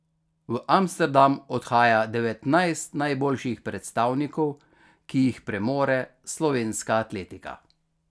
V Amsterdam odhaja devetnajst najboljših predstavnikov, ki jih premore slovenska atletika.